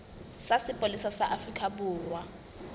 sa sepolesa sa afrika borwa